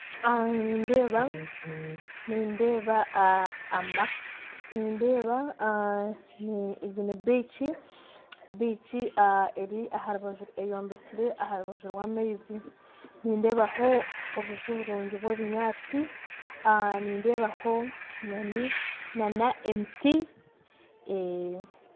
Nindeeba biiki eyombekire aha rubaju rw'amaizi, nindeebaho na obuju burungi bw'ebinyatsi, nindeebaho na emiti.